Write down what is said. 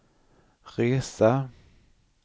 resa